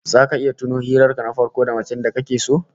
Zaka iya tuno hirar ka na farko da macen da kake so?